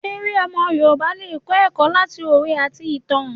Èrè omo Yorùbá le kọ eko lati owe ati itan.